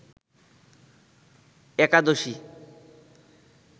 একাদশী